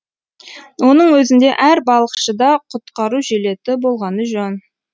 оның өзінде әр балықшыда құтқару жилеті болғаны жөн